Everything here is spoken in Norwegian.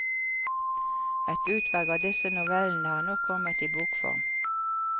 Et utvalg av disse novellene har nå kommet i bokform.